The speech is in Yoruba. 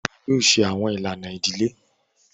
Iwọ yoo ṣe awọn ilana idile!